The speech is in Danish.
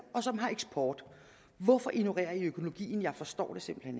og som har eksport hvorfor ignorerer man økologien jeg forstår det simpelt